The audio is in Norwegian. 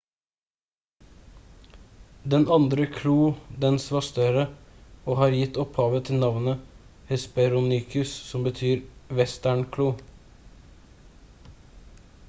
den andre kloen dens var større og har gitt opphavet til navnet hesperonychus som betyr «vestern-klo»